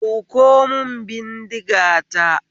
Ɗauko mun bindiga ta